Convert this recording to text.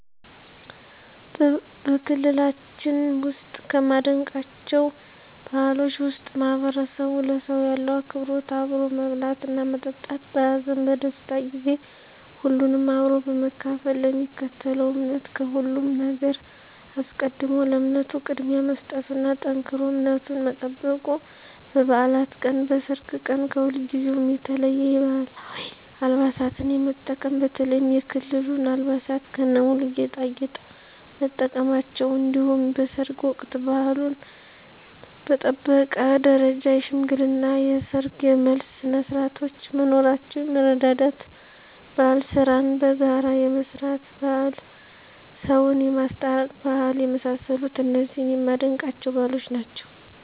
በክልላችን ውስጥ ከማደንቃቸው ባህሎች ውስጥ ማህበረሰቡ ለሰው ያለው አክብሮት አብሮ መብላትና መጠጣት በሀዘን በደስታ ጊዜ ሁሉንም አብሮ በመካፈል ለሚከተለው እምነት ከሁሉም ነገር አስቀድሞ ለእምነቱ ቅድሚያ መስጠቱና ጠንክሮ እምነቱን መጠበቁ በባዕላት ቀን በሰርግ ቀን ከሁልጊዜው የተለየ የባህላዊ አልባሳትን የመጠቀም በተለይም የክልሉን አልባሳት ከነሙሉ ጌጣጌጥ መጠቀማቸው እንዲሁም በሰርግ ወቅት ባህሉን በጠበቀ ደረጃ የሽምግልና የሰርግ የመልስ ስነስርዓቶች መኖራቸው የመረዳዳት ባህል ስራን በጋራ የመስራት ባህል ሰውን የማስታረቅ ባህል የመሳሰሉት እነዚህ የማደንቃቸው ባህሎች ናቸዉ።